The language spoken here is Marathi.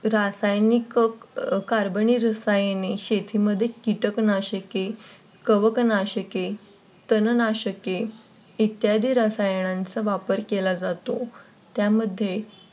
रासायनिक Carbon रसायने शेतीमध्ये कीटक नाशके, कवक नाशके, तण नाशके इत्यादी रसायनांचा वापर केला जातो त्यामध्ये